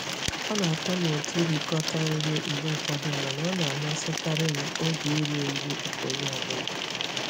Ọ na-atọ m ụtọ ịrikọta nri mgbe ụfọdụ mana ọ na-amasịkarị m oge iri nri nke onye ọ bụla.